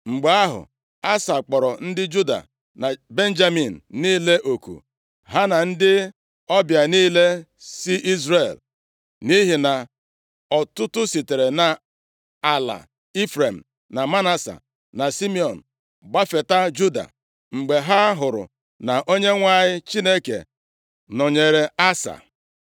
Mgbe ahụ, Asa kpọrọ ndị Juda na Benjamin niile oku, ha na ndị ọbịa niile si Izrel, nʼihi na ọtụtụ sitere nʼala Ifrem na Manase, na Simiọn gbafeta Juda, mgbe ha hụrụ na Onyenwe anyị Chineke nọnyeere Asa.